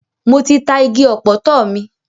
Mo ti ta igi ọ̀pọ̀tọ́ mi.